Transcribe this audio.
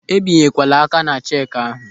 Ebinyekwala aka ná cheki ahụ.